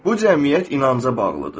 Bu cəmiyyət inanca bağlıdır.